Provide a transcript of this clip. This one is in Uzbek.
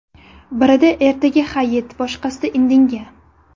Birida ertaga hayit, boshqasida indinga.